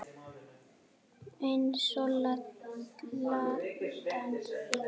Eins og Ladan þín.